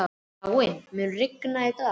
Káinn, mun rigna í dag?